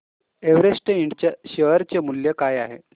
Everest Ind च्या share चे मूल्य काय आहे